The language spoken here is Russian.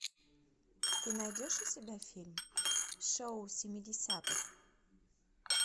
ты найдешь у себя фильм шоу семидесятых